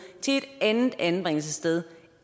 til et andet anbringelsessted